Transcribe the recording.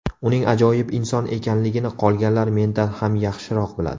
Uning ajoyib inson ekanligini qolganlar mendan ham yaxshiroq biladi.